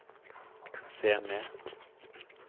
se ned